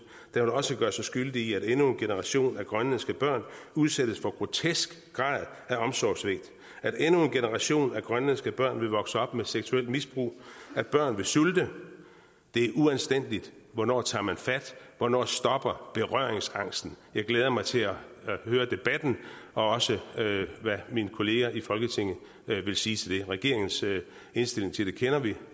vil også gøre sig skyldig i at endnu en generation af grønlandske børn udsættes for en grotesk grad af omsorgssvigt at endnu en generation af grønlandske børn vil vokse op med seksuelt misbrug at børn vil sulte det er uanstændigt hvornår tager man fat hvornår stopper berøringsangsten jeg glæder mig til at høre debatten og også hvad mine kolleger i folketinget vil sige til det regeringens indstilling til det kender vi